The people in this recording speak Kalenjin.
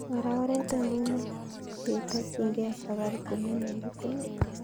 Ara oret ainon neketakyinge safaricom ne negit inei